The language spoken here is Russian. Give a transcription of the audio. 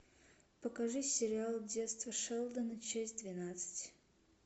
покажи сериал детство шелдона часть двенадцать